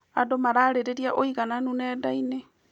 Andũ mararĩrĩria ũigananu nenda-inĩ.